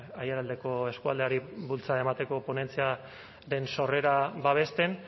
aiaraldeko eskualdeari bultzada emateko ponentziaren sorrera babesten